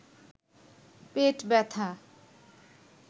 পেট ব্যাথা